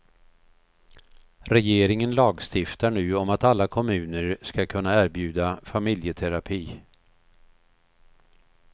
Regeringen lagstiftar nu om att alla kommuner ska kunna erbjuda familjeterapi.